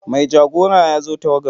Mai jagora ya zo tawagarmu.